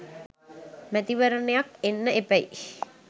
මැතිවරණයක් එන්න එපැයි!